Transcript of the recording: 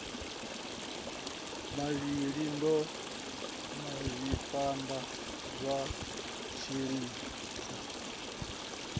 mavhi ḓa masipala wa tshiṱiriki